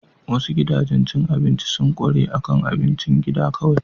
Wasu gidajen cin abinci sun ƙware akan abincin gida kawai.